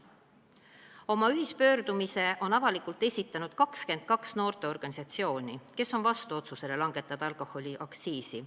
Oma ühispöördumise on avalikult esitanud 22 noorteorganisatsiooni, kes on vastu otsusele langetada alkoholiaktsiisi.